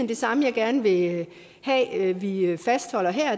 det samme jeg gerne vil have vi vi fastholder her